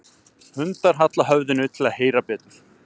Hundar halla höfðinu til að heyra betur.